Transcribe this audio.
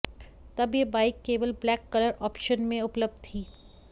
तब ये बाइक केवल ब्लैक कलर ऑप्शन में उपलब्ध थी